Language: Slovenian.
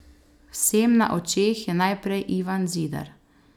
Vsem na očeh je naprej Ivan Zidar.